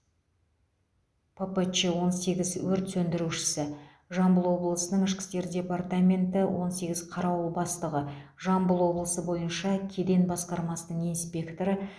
ппч он сегіз өрт сөндірушісі жамбыл облысының ішкі істер департаменті он сегіз қарауыл бастығы жамбыл облысы бойынша кеден басқармасының инспекторы